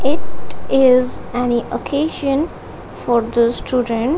it is an occasion for those student--